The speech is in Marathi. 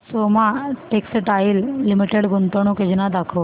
सोमा टेक्सटाइल लिमिटेड गुंतवणूक योजना दाखव